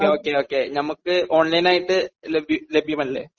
Okay okay നമുക്ക് online ആയിട്ട് ലഭ്യമല്ലേ?